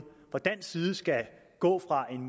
fra dansk side skulle gå fra en